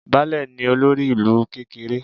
Baálẹ̀ ni olórí ìlú kékeré